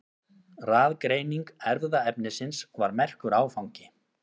Raðgreining erfðaefnisins var merkur áfangi.